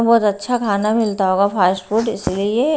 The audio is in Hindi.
बहुत अच्छा खाना मिलता होगा फास्ट फूड इसलिए--